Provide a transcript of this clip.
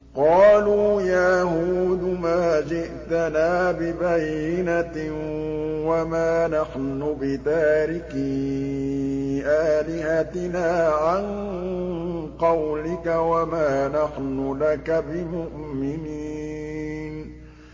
قَالُوا يَا هُودُ مَا جِئْتَنَا بِبَيِّنَةٍ وَمَا نَحْنُ بِتَارِكِي آلِهَتِنَا عَن قَوْلِكَ وَمَا نَحْنُ لَكَ بِمُؤْمِنِينَ